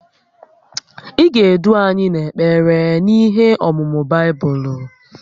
Ị ga-edu anyị n’ekpere na ihe ọ̀mụ̀mụ̀ Baibụlụ